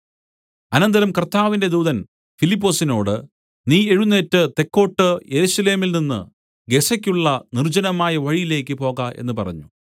അനന്തരം കർത്താവിന്റെ ദൂതൻ ഫിലിപ്പൊസിനോട് നീ എഴുന്നേറ്റ് തെക്കോട്ട് യെരൂശലേമിൽനിന്ന് ഗസയ്ക്കുള്ള നിർജ്ജനമായ വഴിയിലേക്കു പോക എന്ന് പറഞ്ഞു